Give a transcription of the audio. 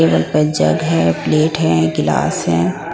Table पर jug है plate है गिलास है।